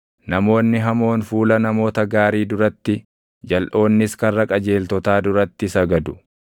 Namoonni hamoon fuula namoota gaarii duratti, jalʼoonnis karra qajeeltotaa duratti sagadu.